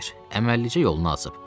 Əməlləcə yolunu açıb.